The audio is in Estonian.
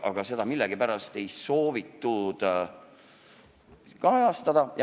Aga seda ei soovitud millegipärast kajastada.